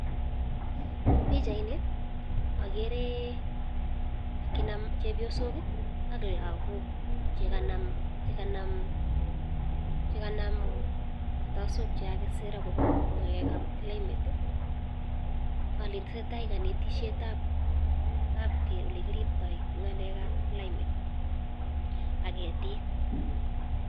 En pichaini okere akina chebiosok ak lokok chekanam kartasok chekakisir akobo ngalekab climate oleteseta konetishetab olekiribto ngalekab climate ak ketik.